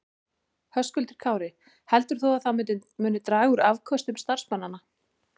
Höskuldur Kári: Heldur þú að það muni draga úr afköstum starfsmanna?